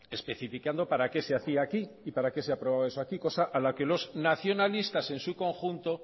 especificando para qué se hacía aquí y para qué se aprobaba eso aquí cosa que a los nacionalistas en su conjunto